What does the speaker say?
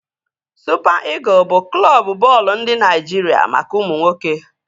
Supa Ịgụl bụ Klọbu bọọlụ ndị Naịjiria maka ụmụ nwoke